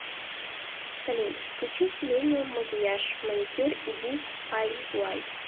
салют включи селениюм макияж маникюр и ди ай уай